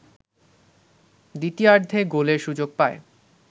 দ্বিতীয়ার্ধে গোলের সুযোগ পায়